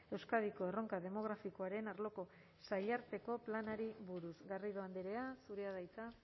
euskadiko erronka demografikoaren arloko sailarteko planari buruz garrido andrea zurea da hitza